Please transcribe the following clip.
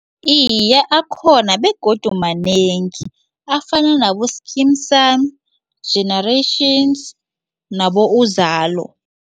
Iye, akhona begodu manengi afana nabo-Skeem saam, Generations nabo Uzalo.